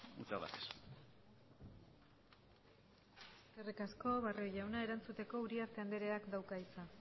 muchas gracias eskerrik asko barrio jauna erantzuteko uriarte andreak dauka hitza